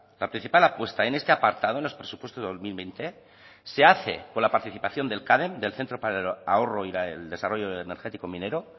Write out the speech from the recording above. la principal apuesta en este apartado en los presupuestos de dos mil veinte se hace con la participación del cadem del centro para el ahorro y el desarrollo energético minero